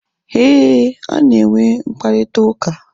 Éè, ha na enwe mkparịta ụka